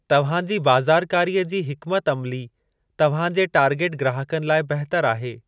तव्हांजी बाज़ारकारीअ जी हिकमत अमिली तव्हां जे टारगेट ग्राहकनि लाइ बहितर आहे।